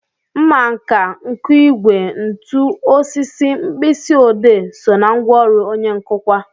Mmanka, nkụigwe, ntu, osisi, mkpịsị odee so ná ngwaọrụ onye nkụkwa